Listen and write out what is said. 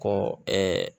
Ko